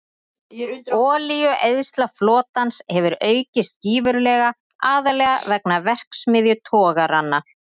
Olíueyðsla flotans hefur aukist gífurlega, aðallega vegna verksmiðjutogaranna.